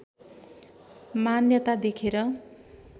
मान्यता देखेर